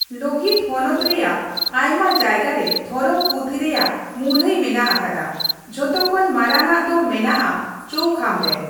ᱞᱳᱦᱤᱛᱚ ᱦᱚᱱᱚᱛ ᱨᱮᱭᱟᱜ ᱟᱭᱢᱟ ᱡᱟᱭᱜᱟ ᱨᱮ ᱫᱷᱚᱨᱚᱢ ᱯᱩᱛᱷᱤ ᱨᱮᱭᱟᱜ ᱢᱩᱨᱩᱟᱹᱭ ᱢᱮᱱᱟᱜ ᱟᱠᱟᱫᱟ, ᱡᱷᱚᱛᱚ ᱠᱷᱚᱱ ᱢᱟᱨᱟᱝᱼᱟᱜ ᱫᱚ ᱢᱮᱱᱟᱜᱼᱟ ᱪᱳᱣᱠᱷᱟᱢ ᱨᱮ ᱾